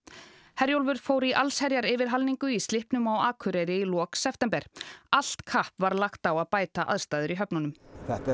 Herjólfur fór í yfirhalningu í slippnum á Akureyri í lok september allt kapp var lagt á að bæta aðstæður í höfnunum þetta er